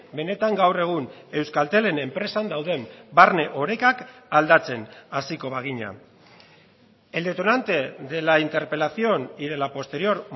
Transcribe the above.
benetan gaur egun euskaltelen enpresan dauden barne orekak aldatzen hasiko bagina el detonante de la interpelación y de la posterior